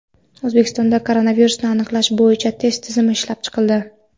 O‘zbekistonda koronavirusni aniqlash bo‘yicha test tizimi ishlab chiqildi.